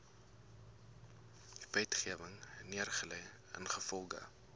wetgewing neergelê ingevolge